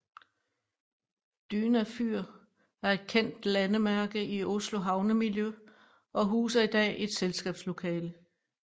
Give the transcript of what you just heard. Dyna fyr er et kendt landemærke i Oslos havnemiljø og huser i dag et selskabslokale